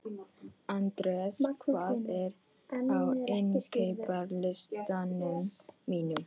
Andreas, hvað er á innkaupalistanum mínum?